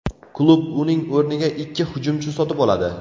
Klub uning o‘rniga ikki hujumchi sotib oladi.